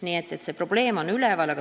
Nii et see probleem on üleval.